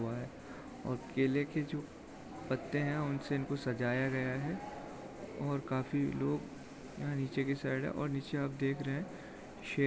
हुआ है और केले की जो पत्ते है उनसे इनको सजाया गया है और काफी लोग यहा नीचे की साइड है और नीचे आप देख रहे शे --